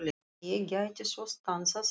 Ef ég gæti svo stansað í